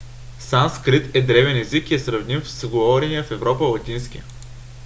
санскрит е древен език и е сравним с говорения в европа латински